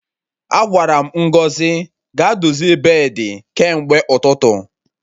Agwara m Ngozi ga-dozie beedi kemgbe ụtụtụ